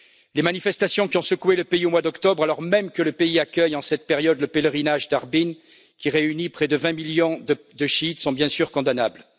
Les manifestations qui ont secoué le pays, au mois d'octobre, alors même que le pays accueille, en cette période, le pèlerinage d'Arbaïn, qui réunit près de 20 millions de chiites, sont bien sûr condamnables.